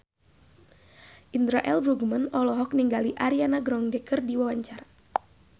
Indra L. Bruggman olohok ningali Ariana Grande keur diwawancara